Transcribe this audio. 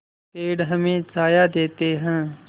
पेड़ हमें छाया देते हैं